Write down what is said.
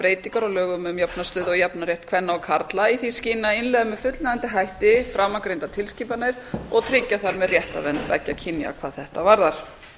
breytingar á lögum um jafna stöðu og jafnan rétt kvenna og karla í því skyni að innleiða með fullnægjandi hætti framangreindar tilskipanir og tryggja þar með réttarvernd beggja kynja hvað þetta varðar